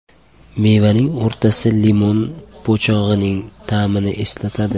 Mevaning o‘rtasi limon po‘chog‘ining ta’mini eslatadi.